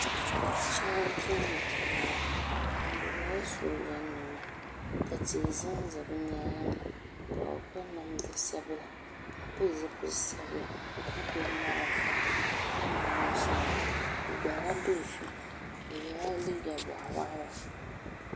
Sheba n tumdi tumala bɛ yela Sooja niɛma ka tihi zanza bɛ nyaanga ka bɛ piri namda sabila ka pili zipil'sabila ka gbibi marafa ka niŋ noosi maasi bɛ gbaagi la do'so o yela liiga boɣa waɣala.